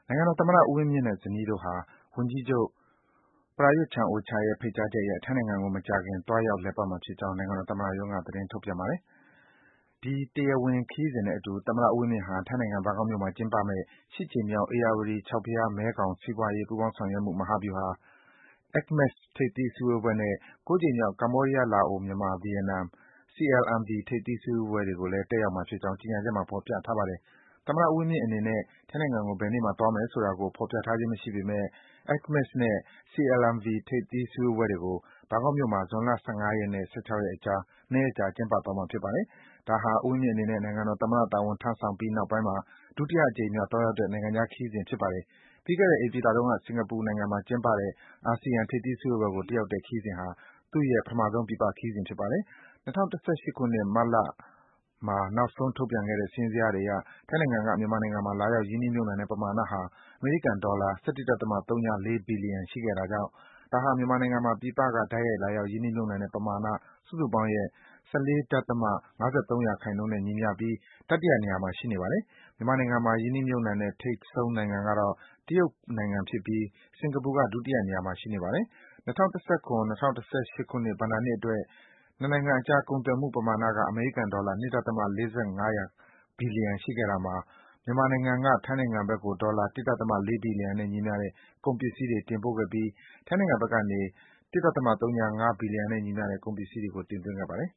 ိုင်ငံတော်သမ္မတ ဦးဝင်းမြင့်နဲ့ ဇနီးတို့ဟာ ဝန်ကြီးချုပ် Prayut Chan-o-cha ရဲ့ ဖိတ်ကြားချက်အရ ထိုင်းနိုင်ငံကို မကြာခင် သွားရောက် လည်ပတ်မှာဖြစ်ကြောင်း နိုင်ငံတော် သမ္မတရုံးက သတင်းထုတ်ပြန်ပါတယ်။ ဒီ တရားဝင် ခရီးစဉ်နဲ့အတူ သမ္မတ ဦးဝင်းမြင့်ဟာ ထိုင်းနိုင်ငံ၊ ဘန်ကောက်မြို့မှာ ကျင်းပမယ့် (၈) ကြိမ်မြောက် ဧရာဝတီ-ကျောက်ဖယား-မဲခေါင် စီးပွားရေး ပူးပေါင်းဆောင်ရွက်မှု မဟာဗျူဟာ (ACMECS) ထိပ်သီး အစည်းအဝေးနဲ့ (၉) ကြိမ်မြောက် ကမ္ဘောဒီးယား၊ လာအို၊ မြန်မာ၊ ဗီယက်နမ် (CLMV) ထိပ်သီး စည်းဝေးပွဲတွေကိုလည်း တက်ရောက်မှာဖြစ်ကြောင်း ကြေညာချက်မှာ ဖော်ပြထားပါတယ်။ သမ္မတ ဦးဝင်းမြင့်အနေနဲ့ ထိုင်းနိုင်ငံကို ဘယ်နေ့မှာ သွားမယ်ဆိုတာကို ဖော်ပြထားခြင်း မရှိပေမယ့် ACMECS နဲ့ CLMV ထိပ်သီး စည်းဝေးပွဲတွေကို ဘန်ကောက်မြို့မှာ ဇွန်လ ၁၅ ရက်နဲ့ ၁၆ ရက်အကြား ၂ ရက်ကြာ ကျင်းပသွားမှာ ဖြစ်ပါတယ်။ ဒါဟာ ဦးဝင်းမြင့်အနေနဲ့ နိုင်ငံတော်သမ္မတ တာဝန် စတင် ထမ်းဆောင်ပြီးနောက်မှာ ဒုတိယအကြိမ်မြောက် သွားရောက်တဲ့ နိုင်ငံခြားခရီးစဉ် ဖြစ်ပါတယ်။ ပြီးခဲ့တဲ့ ဧပြီလတုန်းက စင်္ကာပူနိုင်ငံမှာ ကျင်းပတဲ့ အာဆီယံ ထိပ်သီးစည်းဝေးပွဲကို တက်ရောက်တဲ့ ခရီးစဉ်ဟာ သူ့ရဲ့ ပထမဆုံး ပြည်ပ ခရီးစဉ် ဖြစ်ပါတယ်။ ၂၀၁၈ ခုနှစ်၊ မတ်လမှာ နောက်ဆုံး ထုတ်ပြန်ခဲ့တဲ့ စာရင်းဇယားတွေအရ ထိုင်းနိုင်ငံက မြန်မာနိုင်ငံမှာ လာရောက် ရင်းနှီးမြုပ်နှံတဲ့ ပမာဏဟာ အမေရိကန်ဒေါ်လာ ၁၁.၀၄ ဘီလီယံ ရှိခဲ့တာကြောင့် ဒါကြောင့် မြန်မာနိုင်ငံမှာ ပြည်ပက တိုက်ရိုက် လာရောက် ရင်းနှီးမြုပ်နှံတဲ့ ပမာဏ စုစုပေါင်းရဲ့ ၁၄.၅၃ ရာခိုင်နှုန်းနဲ့ ညီမျှပြီး တတိတယ နေရာမှာ ရှိနေပါတယ်။ မြန်မာနိုင်ငံမှာ ရင်းနှီးမြုပ်နှံတဲ့ ထိပ်ဆုံးနိုင်ငံကတော့ တရုတ်ဖြစ်ပြီး စင်္ကာပူက ဒုတိယနေရာမှာ ရှိနေပါတယ်။ ၂၀၁၇-၂၀၁၈ ခုနှစ် ဘဏ္ဍာနှစ်အတွက် နှစ်နိုင်ငံအကြား ကုန်သွယ်မှု ပမာဏက အမေရိကန်ဒေါ်လာ ၂.၄၅% ရှိခဲ့တာမှာ မြန်မာနိုင်ငံက ထိုင်းဘက်ကို ဒေါ်လာ ၁.၄ ဘီလီယံနဲ့ ညီမျှတဲ့ ကုန်ပစ္စည်းတွေ တင်ပို့ခဲ့ပြီး ထိုင်းဘက်ကနေ ၁.၀၅ နဲ့ ညီမျှတဲ့ ကုန်ပစ္စည်းတွေ တင်သွင်းခဲ့ပါတယ်